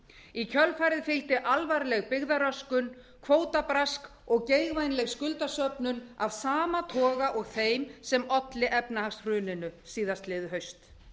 í kjölfarið fylgdi alvarleg byggðaröskun kvótabrask og geigvænleg skuldasöfnun af sama toga og þeim sem olli efnahagshruninu síðastliðið haust